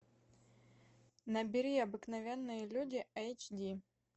набери обыкновенные люди эйч ди